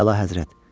Əlahəzrət.